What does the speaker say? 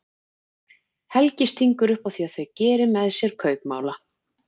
Helgi stingur upp á því að þau geri með sér kaupmála.